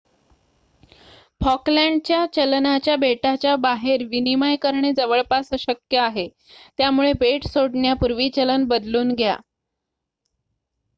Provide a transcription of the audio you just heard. फॉकलँडच्या चलनाचा बेटाच्या बाहेर विनिमय करणे जवळपास अशक्य आहे त्यामुळे बेट सोडण्यापूर्वी चलन बदलून घ्या